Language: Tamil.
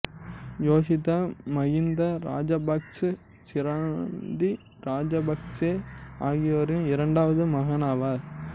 யோசித்த மகிந்த ராசபக்ச சிராந்தி ராசபக்ச ஆகியோரின் இரண்டாவது மகனாவார்